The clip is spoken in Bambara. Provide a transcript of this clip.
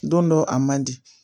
Don dɔ a man di